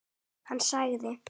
Hann sagði.